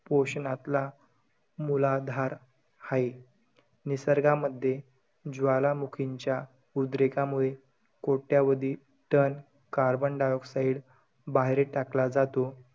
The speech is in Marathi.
पोषणातला मुलाधार हाये. निसर्गामध्ये, ज्वालामुखींच्या उद्रेकामुळे, कोट्यावधी ton carbon dioxide बाहेर टाकला जातो.